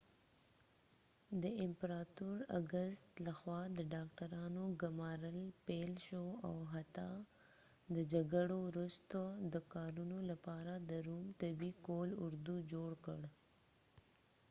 د امپراتور اګستس لخوا د ډاکټرانو ګمارل پیل شول او حتی د جګړو وروسته د کارونې لپاره د روم طبي قول اردو جوړ کړ